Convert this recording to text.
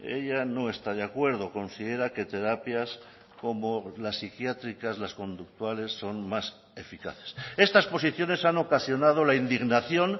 ella no está de acuerdo considera que terapias como la psiquiátricas las conductuales son más eficaces estas posiciones han ocasionado la indignación